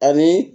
Ani